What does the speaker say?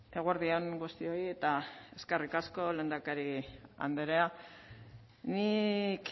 eguerdi on guztioi eta eskerrik asko lehendakari andrea nik